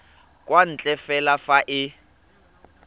kwa ntle fela fa e